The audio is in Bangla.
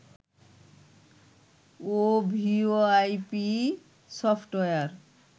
O VoIP software